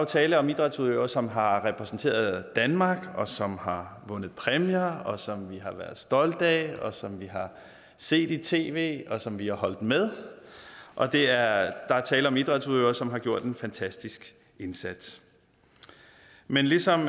tale om idrætsudøvere som har repræsenteret danmark og som har vundet præmier og som vi har været stolte af og som vi har set i tv og som vi har holdt med og der er tale om idrætsudøvere som har gjort en fantastisk indsats men ligesom